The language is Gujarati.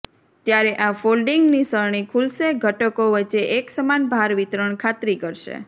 ત્યારે આ ફોલ્ડિંગ નિસરણી ખુલશે ઘટકો વચ્ચે એકસમાન ભાર વિતરણ ખાતરી કરશે